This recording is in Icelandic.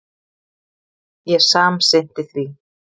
Ég samsinnti því.